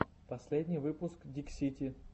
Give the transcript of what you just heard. последний выпуск диксити